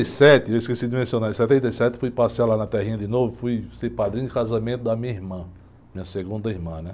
Sete, eu esqueci de mencionar, em setenta e sete fui passear lá na terrinha de novo, fui ser padrinho de casamento da minha irmã, minha segunda irmã, né?